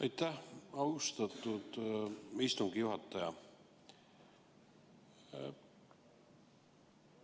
Aitäh, austatud istungi juhataja!